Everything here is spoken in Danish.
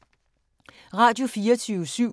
Radio24syv